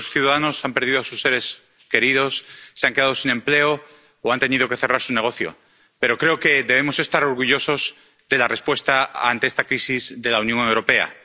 Muchos ciudadanos han perdido a sus seres queridos, se han quedado sin empleo o han tenido que cerrar su negocio. Pero creo que debemos estar orgullosos de la respuesta ante esta crisis de la Unión Europea.